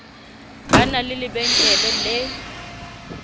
ba na le lebenkele le